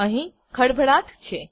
અહીં ખળભળાટ છે